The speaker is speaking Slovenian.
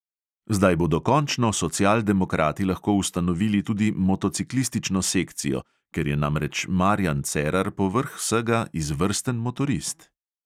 Zdaj bodo končno socialdemokrati lahko ustanovili tudi motociklistično sekcijo, ker je namreč marjan cerar povrh vsega izvrsten motorist.